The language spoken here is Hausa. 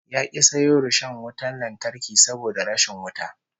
Ya ki sayo rishon wutan lantarki saboda rashin wuta